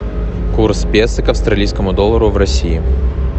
курс песо к австралийскому доллару в россии